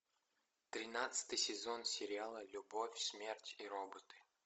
тринадцатый сезон сериала любовь смерть и роботы